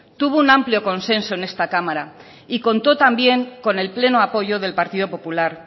tuvo un amplio consenso en esta cámara y contó también con el pleno apoyo del partido popular